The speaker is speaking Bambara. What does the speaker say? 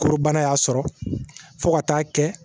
Korobana y'a sɔrɔ fo ka taa kɛ